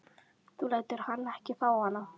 Þú lætur hann ekki fá hana!